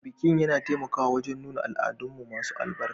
Bikin yana taimakawa wajen nuna al'adunmu masu albarka